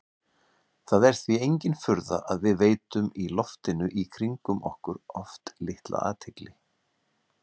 Það er því engin furða að við veitum loftinu í kringum okkur oft litla athygli.